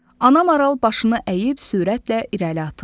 Ana maral başını əyib sürətlə irəli atıldı.